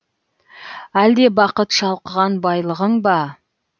әлде бақыт шалқыған байлығың ба